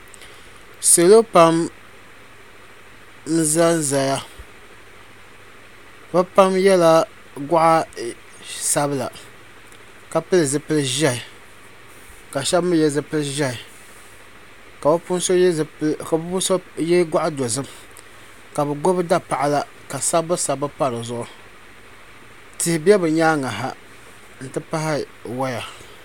Salo pam n zan zaya bi pam yɛla gɔɣa sabila ka pili zipili ʒiɛhi ka shɛba mi yɛ zipili ʒiɛhi ka bi puuni so yɛ gɔɣa dozim ka bi gbubi dapaɣala ka sabbu sabbu pa di zuɣu tihi bɛ bi nyaanga ha n ti pahi waya.